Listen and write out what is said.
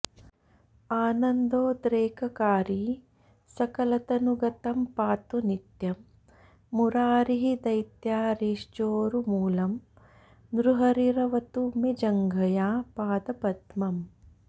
आनन्दोद्रेककारी सकलतनुगतं पातु नित्यं मुरारिः दैत्यारिश्चोरुमूलं नृहरिरवतु मे जङ्घया पादपद्मम्